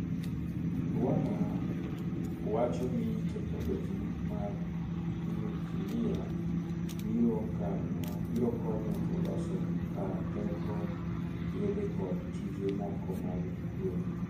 Rwanda wacho ni teknoloji mar nyukilia biro konyo e loso kar teko, yedhe kod tije moko mag kwe.